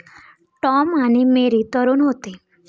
Tom आणि Mary तरूण होते.